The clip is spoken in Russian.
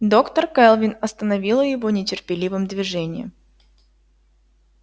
доктор кэлвин остановила его нетерпеливым движением